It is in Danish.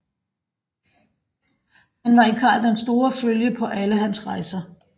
Han var i Karl den Store følge på alle hans rejser